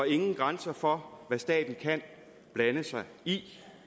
ingen grænser for hvad staten kan blande sig i